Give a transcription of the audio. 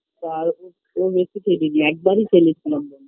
তাও ও বেশি খেলিনি একবারই খেলেছিলাম